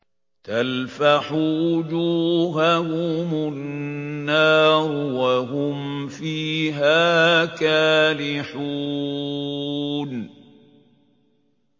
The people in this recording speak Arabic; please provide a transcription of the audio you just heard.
تَلْفَحُ وُجُوهَهُمُ النَّارُ وَهُمْ فِيهَا كَالِحُونَ